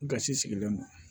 Gasi sigilen don